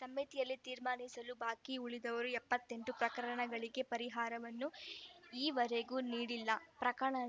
ಸಮಿತಿಯಲ್ಲಿ ತೀರ್ಮಾನಿಸಲು ಬಾಕಿ ಉಳಿದಿರುವ ಎಪ್ಪತ್ತೆಂಟು ಪ್ರಕರಣಗಳಿಗೆ ಪರಿಹಾರವನ್ನು ಈವರೆಗೆ ನೀಡಿಲ್ಲ ಪ್ರಕರಣ